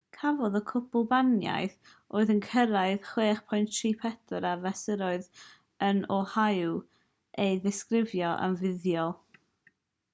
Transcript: cafodd y gwlybaniaeth oedd yn cyrraedd 6.34 ar fesurydd yn oahu ei ddisgrifio yn fuddiol